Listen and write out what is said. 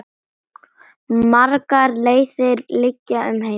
Margar leiðir liggja um heim.